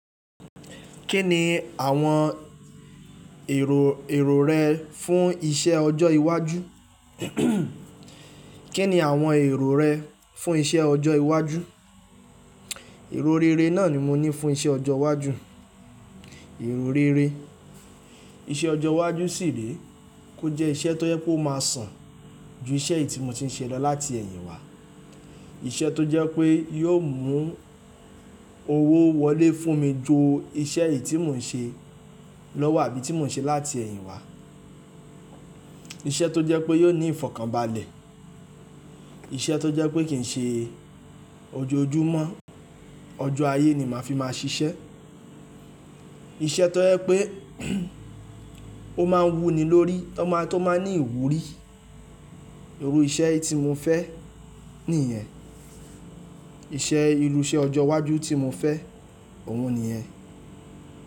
Kí ni àwọn èrò, èrò rẹ fún iṣẹ́ ọjọ́ iwájú kí ni àwọn èrò rẹ fún iṣẹ́ ọjọ́ iwájú? Ẹ̀rọ rere náà ni mo ní fún iṣẹ́ ọjọ́ iwájú, èrò rere. Iṣẹ́ ọjọ́ iwájú sì ré kò jẹ́ iṣẹ́ tó jẹ pe ó máa sàn ju iṣẹ́ eyì tí mo ti ń ṣe lọ láti ẹ̀yìn wá. Iṣẹ́ tó jẹ́ pé yóò mú owó wọlé fún mi ju iṣẹ́ eyì tí mò ń ṣe lọ́wọ́ àbí ti mò ń ṣe láti ẹ̀yìn wá. Iṣẹ́ tó jẹ́ pé yóò ní ìfọ̀kànbalẹ̀, iṣẹ́ tó jẹ́ pé kì n ṣe ojoojúmọ́, ọjọ́ ayé ni màá fi máa ṣiṣẹ́. Iṣẹ́ tó jẹ pé ó máa wúni lórí, tó máa tó máa ní ìwúrí. Irọ iṣẹ́ tí mo fẹ́ nìyẹn. Iṣẹ́ ìrú iṣe ọjọ́ iwájú tí mo fẹ́ òun nìyẹn.